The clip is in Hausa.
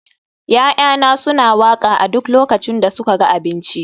ya'yana suna waƙa a duk lokacin da suka ga abinci